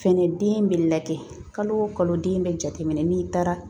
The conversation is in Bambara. Fɛnɛ den bɛ lajɛ kalo o kalo den bɛ jateminɛ n'i taara